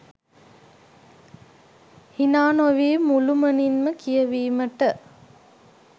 හිනානොවී මුළුමනින්ම කියවීමට